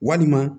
Walima